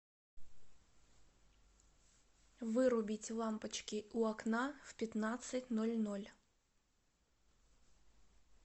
вырубить лампочки у окна в пятнадцать ноль ноль